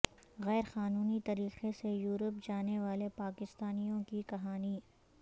غیر قانونی طریقے سے یورپ جانے والے پاکستانیوں کی کہانی